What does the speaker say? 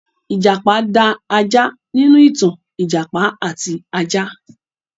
Ìjàpá da ajá nínú ìtàn 'Ìjàpá àti Ajá'.